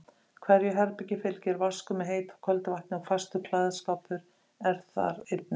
Hverju herbergi fylgir vaskur með heitu og köldu vatni og fastur klæðaskápur er þar einnig.